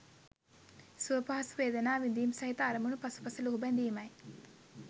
සුව පහසු වේදනා විඳීම් සහිත අරමුණු පසුපස ලුහු බැඳීමයි.